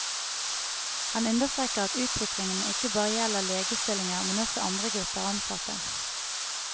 Han understreker at utviklingen ikke bare gjelder legestillinger, men også andre grupper ansatte.